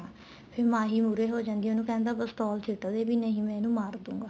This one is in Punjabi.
ਫ਼ੇਰ ਮਾਹੀ ਮਹੁਰੇ ਹੋ ਜਾਂਦੀ ਏ ਉਹਨੂੰ ਕਹਿੰਦਾ ਪਿਸਤੋਲ ਸਿੱਟ ਦੇ ਨਹੀਂ ਮੈਂ ਇਹਨੂੰ ਮਾਰ ਦੂਂਗਾ